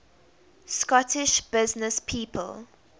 scottish businesspeople